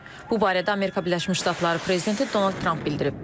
Bu barədə Amerika Birləşmiş Ştatları prezidenti Donald Tramp bildirib.